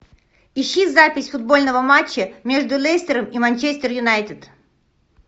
ищи запись футбольного матча между лестером и манчестер юнайтед